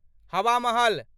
हवा महल